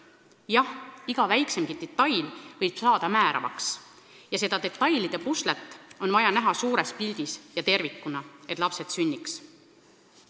Jah, iga väiksemgi detail võib saada määravaks ja seda detailide puslet on vaja näha suures pildis ja tervikuna, et lapsed sünniks.